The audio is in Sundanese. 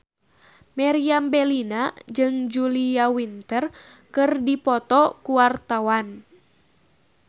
Meriam Bellina jeung Julia Winter keur dipoto ku wartawan